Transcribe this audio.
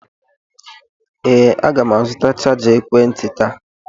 Ee, aga m azụta chaja ekwentị taa.